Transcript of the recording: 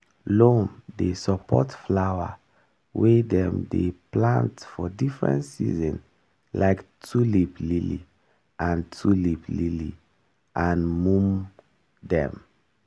loam dey support flower wey dem dey plant for different season like tulip lily and tulip lily and mum dem.